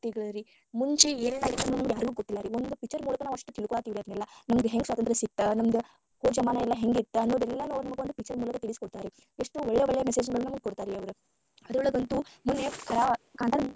ಭಕ್ತಿಗರೀ, ಮುಂಚೆ ಏನೆಲ್ಲಾ ಆಯ್ತಾ ನಮಗ ಯಾರಿಗೂ ಗೊತ್ತಿಲ್ಲಾ ರೀ ನಾವ picture ನೋಡಿ ಅಷ್ಟ ತಿಳ್ಕೊಳತೀವಿ ಎಲ್ಲಾ ನಮಗ ಹೆಂಗ ಸ್ವಾತಂತ್ರ್ಯ ಸಿಕ್ತ ಹೋದ ಜಮಾನಾ ಎಲ್ಲಾ ಹೆಂಗ ಇತ್ತ ಅನ್ನದೆಲ್ಲಾ ನೋಡ್ಕೊಂಡ picture ಮೂಲಕ ತಿಳಿಸಿಕೊಡ್ತಾರರೀ ಎಷ್ಟು ಒಳ್ಳೆ ಒಳ್ಳೆ message ನಮಗ ಗೊತ್ತ ಆಗ್ಯಾವರಿ ಅದ್ರೊಳಗ ಅಂತೂ ಮೊನ್ನೆ ಕಾಂತಾರ.